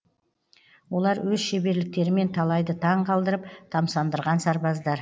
олар өз шеберліктерімен талайды таң қалдырып тамсандырған сарбаздар